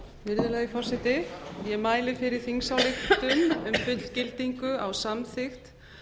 virðulegi forseti ég mæli fyrir þingsályktun um fullgildingu á samþykkt